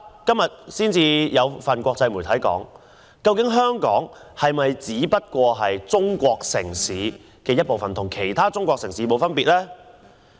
今天有一份國際報紙質疑，香港是否已成為中國其中一個城市，與其他城市沒有分別。